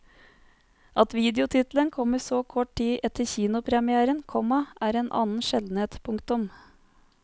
At videotittelen kommer så kort tid etter kinopremièren, komma er en annen sjeldenhet. punktum